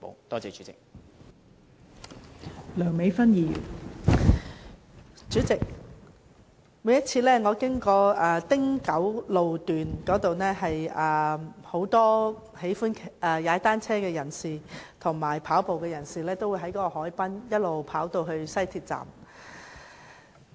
代理主席，每次我經過青山公路汀九段，都會看見很多喜歡踏單車和跑步的人士沿海濱一直前往西鐵站。